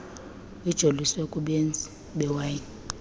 ijoliswe kubenzi bewayini